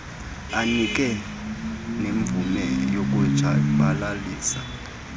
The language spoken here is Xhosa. anike nemvume yokutshabalalisa